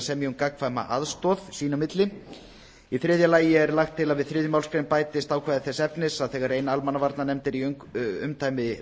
að semja um gagnkvæma aðstoð sín á milli í þriðja lagi er lagt til að við þriðju málsgrein bætist ákvæði þess efnis að þegar ein almannavarnanefnd er í umdæmi